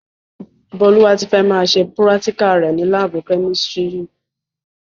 Bọ́lúwátifẹ́ máa ṣe púrátíkà rẹ̀ ni láábù kẹ́mísítiri